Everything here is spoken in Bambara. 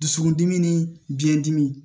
Dusukundimi ni biɲɛdimi